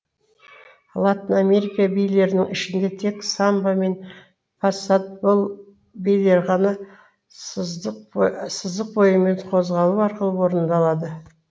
латын америка билерінің ішінде тек самба мен пасабол билері ғана сызық бойымен қозғалу арқылы орындалады